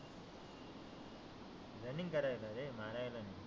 Running करायला रे मारायला नाही.